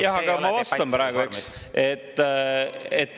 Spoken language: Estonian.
Jaa, aga ma vastan praegu, eks.